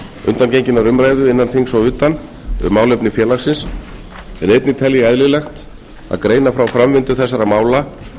undangenginnar umræðu innan þings og utan um málefni félagsins en einnig tel ég eðlilegt að greina frá framvindu þessara mála